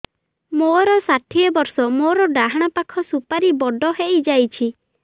ମୋର ଷାଠିଏ ବର୍ଷ ମୋର ଡାହାଣ ପାଖ ସୁପାରୀ ବଡ ହୈ ଯାଇଛ